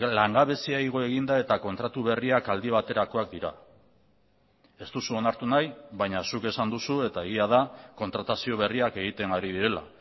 langabezia igo egin da eta kontratu berriak aldi baterakoak dira ez duzu onartu nahi baina zuk esan duzu eta egia da kontratazio berriak egiten ari direla